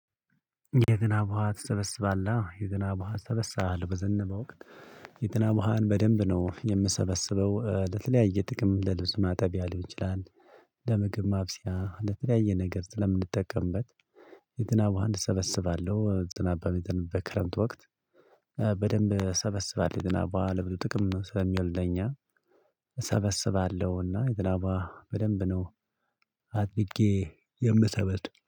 የዝናብ ውሃ ትሰበስባለህ? የዝናብ ውሃ እሰበስባለሁ በዘነበ ወቅት። የዝናብ ውሃን በደንብ ነው የምሰበስበው ለተለያየ ጥቅም ለልብስ ማጠብያ ሊሆን ይችላል፤ ለምግብ ማብሰያ ለተለያየ ነገር ስለምንጠቀምበት የዝናብ ውሃ እሰበስባለሁ። ዝናብ በሚዘንብበት በክረምት ወቅት። በደንብ እሰበስባለሁ። የዝናብ ውሃ ለብዙ ጥቅም ስለሚውል ለኛ እሰበስባለሁና የዝናብ ውሃ በደንብ ነው አጥብቄ የምሰበስብ።